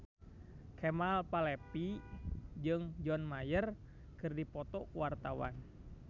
Kemal Palevi jeung John Mayer keur dipoto ku wartawan